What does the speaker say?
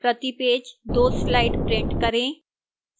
प्रति page 2 slides print करें